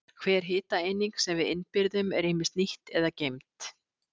Hver hitaeining sem við innbyrðum er ýmist nýtt eða geymd.